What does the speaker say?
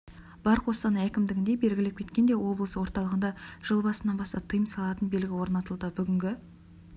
бар қостанай әкімдігінде белгілеп кеткендей облыс орталығында жыл басынан бастап тыйым салатын белгі орнатылды бүгінгі